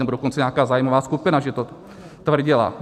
Nebo dokonce nějaká zájmová skupina že to tvrdila.